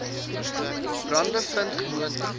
brande vind gewoonlik